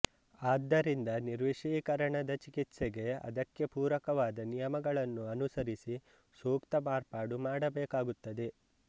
ಆದ್ದರಿಂದ ನಿರ್ವಿಷೀಕರಣದ ಚಿಕಿತ್ಸೆಗೆ ಅದಕ್ಕೆ ಪೂರಕವಾದ ನಿಯಮಗಳನ್ನು ಅನುಸರಿಸಿ ಸೂಕ್ತ ಮಾರ್ಪಾಡು ಮಾಡಬೇಕಾಗುತ್ತದೆ